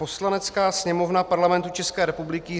Poslanecká sněmovna Parlamentu České republiky